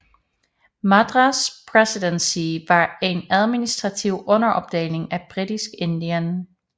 Madras Presidency var en administrativ underopdeling af Britisk Indien